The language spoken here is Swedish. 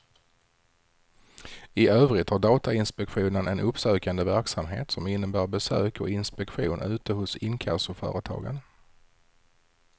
I övrigt har datainspektionen en uppsökande verksamhet som innebär besök och inspektion ute hos inkassoföretagen.